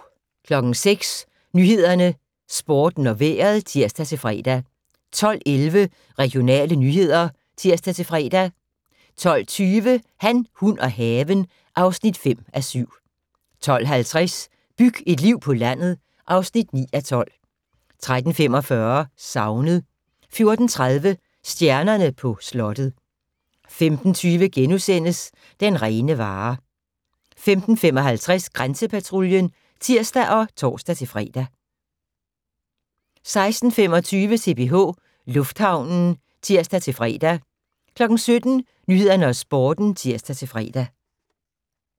06:00: Nyhederne, Sporten og Vejret (tir-fre) 12:11: Regionale nyheder (tir-fre) 12:20: Han, hun og haven (5:7) 12:50: Byg et liv på landet (9:12) 13:45: Savnet 14:30: Stjernerne på slottet 15:20: Den rene vare * 15:55: Grænsepatruljen (tir og tor-fre) 16:25: CPH Lufthavnen (tir-fre) 17:00: Nyhederne og Sporten (tir-fre)